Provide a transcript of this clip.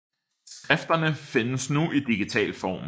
Skrifterne findes nu i digital form